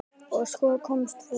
Og svo komst þú!